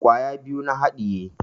Kwaya biyu na haɗiye